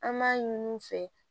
An b'a ɲin'u fɛ